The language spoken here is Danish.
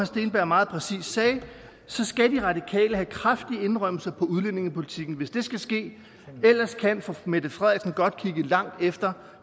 steenberg meget præcist sagde skal de radikale have kraftige indrømmelser på udlændingepolitikken hvis det skal ske ellers kan fru mette frederiksen godt kigge langt efter